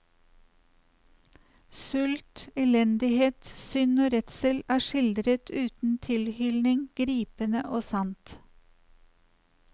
Sult, elendighet, synd og redsel er skildret uten tilhylning, gripende og sant.